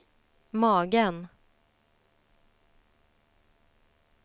magen